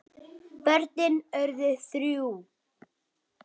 Börnin urðu þrjú.